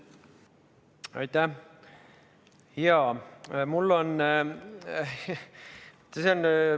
Aitäh!